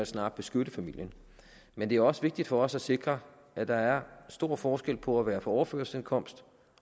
snarere beskytte familien men det er også vigtigt for os at sikre at der er stor forskel på at være på overførselsindkomst